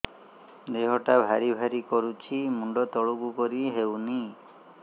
ଦେହଟା ଭାରି ଭାରି କରୁଛି ମୁଣ୍ଡ ତଳକୁ କରି ହେଉନି